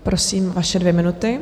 Prosím, vaše dvě minuty.